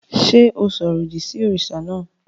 Ṣé o sọ̀rọ̀ òdì sí òrìṣà náà?